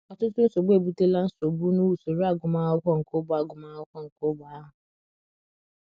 Ọtụtụ nsogbu ebutela nsogbu n’usoro agụmakwụkwọ nke ógbè agụmakwụkwọ nke ógbè ahụ.